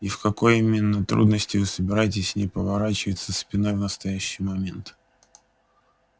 и в какой именно трудности вы собираетесь не поворачиваться спиной в настоящий момент